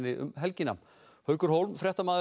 um helgina haukur